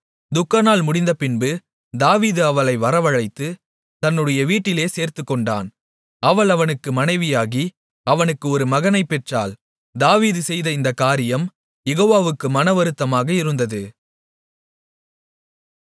துக்கநாள் முடிந்தபின்பு தாவீது அவளை வரவழைத்து தன்னுடைய வீட்டிலே சேர்த்துக்கொண்டான் அவள் அவனுக்கு மனைவியாகி அவனுக்கு ஒரு மகனைப்பெற்றாள் தாவீது செய்த இந்தக் காரியம் யெகோவாவுக்கு மனவருத்தமாக இருந்தது